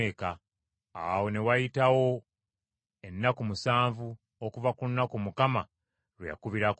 Awo ne wayitawo ennaku musanvu okuva ku lunaku Mukama lwe yakubirako omugga.